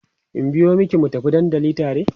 in biyo maki mu tafi dandali tare?